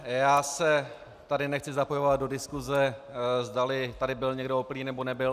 Já se tady nechci zapojovat do diskuse, zdali tady byl někdo opilý, nebo nebyl.